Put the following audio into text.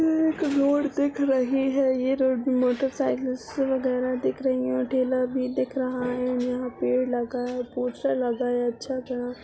एक रोड दिख रही है ये रोड मोटर साइकिल वगेरा दिख रही हैं। ठेला भी दिख रहा है| यहाँ पेड़ लगा है पोस्टर लगा है अच्छा सा --